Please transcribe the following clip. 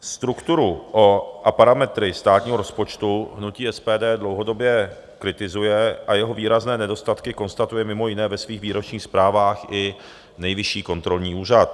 Strukturu a parametry státního rozpočtu hnutí SPD dlouhodobě kritizuje a jeho výrazné nedostatky konstatuje mimo jiné ve svých výročních zprávách i Nejvyšší kontrolní úřad.